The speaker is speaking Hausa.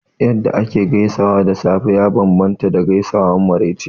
Yadda ake gaisuwa da safe ya bambanta da gaisuwar maraice